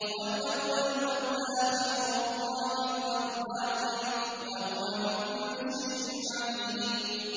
هُوَ الْأَوَّلُ وَالْآخِرُ وَالظَّاهِرُ وَالْبَاطِنُ ۖ وَهُوَ بِكُلِّ شَيْءٍ عَلِيمٌ